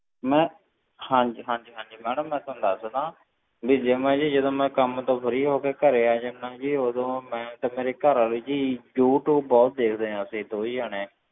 ਮੈਂ ਹਾਂਜੀ ਹਾਂਜੀ ਹਾਂਜੀ madam ਮੈਂ ਤੁਹਾਨੂੰ ਦੱਸਦਾਂ, ਵੀ ਜਿਵੇਂ ਜੀ ਜਦੋਂ ਮੈਂ ਕੰਮ ਤੋਂ free ਹੋ ਕੇ ਘਰੇ ਆ ਜਾਨਾ ਜੀ, ਉਦੋਂ ਮੈਂ ਤੇ ਮੇਰੀ ਘਰ ਵਾਲੀ ਜੀ ਯੂ ਟਿਊਬ ਬਹੁਤ ਦੇਖਦੇ ਹਾਂ ਅਸੀਂ ਦੋਵੇਂ ਜਾਣੇ,